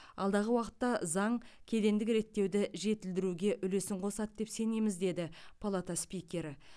алдағы уақытта заң кедендік реттеуді жетілдіруге үлесін қосады деп сенеміз деді палата спикері